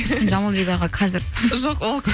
ұшқын жамалбек аға қазір жоқ ол